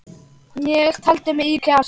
Ég taldi í mig kjark.